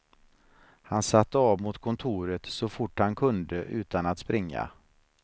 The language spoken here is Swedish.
Han satte av mot kontoret så fort han kunde utan att springa.